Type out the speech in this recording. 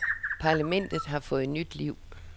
Parlamentet har fået nyt liv.